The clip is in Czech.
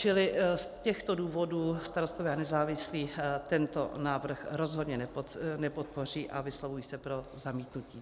Čili z těchto důvodů Starostové a nezávislí tento návrh rozhodně nepodpoří a vyslovují se pro zamítnutí.